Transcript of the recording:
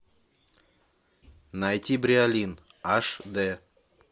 найти бриолин аш дэ